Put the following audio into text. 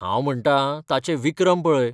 हांव म्हणटां, ताचे विक्रम पळय.